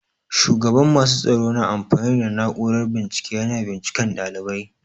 Shugaban masu tsaro na amfani da na'urar bincike yana bincika ɗalibai.